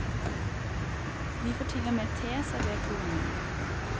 Vi får til og med te servert to ganger.